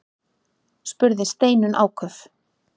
spurði Steinunn áköf.